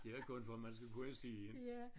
Det var kun for at man skulle kunne se